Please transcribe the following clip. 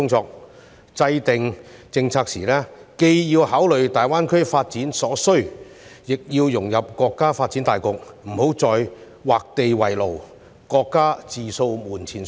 在制訂政策時，既要考慮大灣區發展所需，亦要融入國家發展大局，不要再劃地為牢，各家自掃門前雪。